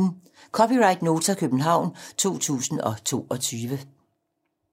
(c) Nota, København 2022